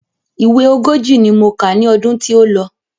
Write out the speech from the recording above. Ìwé ogójì ni mo kà ní ọdún tí ó lọ.